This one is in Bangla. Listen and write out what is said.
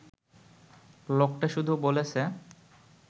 লোকটা শুধু বলেছে